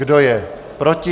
Kdo je proti?